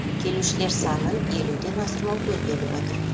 келушілер санын елу ден асырмау көзделіп отыр